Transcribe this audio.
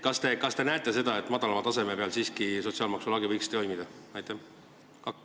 Kas te näete, et madalama taseme peal võiks sotsiaalmaksu lagi siiski toimida?